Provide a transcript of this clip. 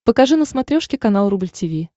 покажи на смотрешке канал рубль ти ви